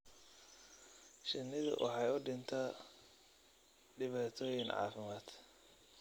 Shinnidu waxay u dhintaa dhibaatooyin caafimaad.